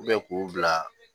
k'u bila